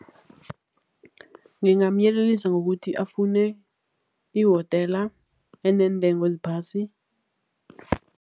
Ngingamyelelisa ngokuthi afune ihotela eneentengo eziphasi.